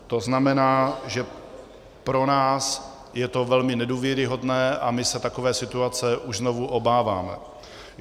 To znamená, že pro nás je to velmi nedůvěryhodné, a my se takové situace už znovu obáváme.